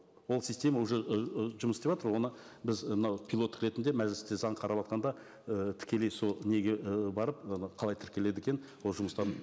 ол система уже ыыы жұмыс істеватыр оны біз і мынау пилоттық ретінде мәжілісте заң қараватқанда і тікелей сол неге ы барып қалай тіркеледі екен ол жұмыстарын